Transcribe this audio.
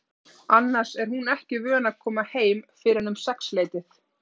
Annars er hún ekki vön að koma heim fyrr en um sexleytið.